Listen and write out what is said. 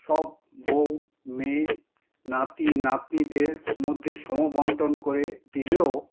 সব বউ, মেয়ে, নাতি-নাতনীদের মধ্যে সমবণ্টন করে দিলেও